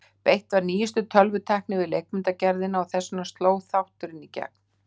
beitt var nýjustu tölvutækni við leikmyndagerðina og þess vegna sló þátturinn í gegn.